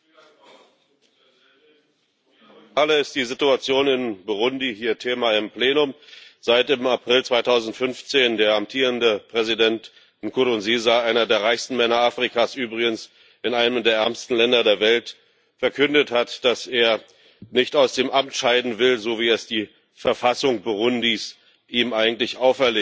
Frau Präsidentin! Zum wiederholten Mal ist die Situation in Burundi hier Thema im Plenum, seit im April 2015 der amtierende Präsident Nkurunziza einer der reichsten Männer Afrikas übrigens in einem der ärmsten Länder der Welt verkündet hat, dass er nicht aus dem Amt scheiden will, so wie es die Verfassung Burundis ihm eigentlich auferlegt.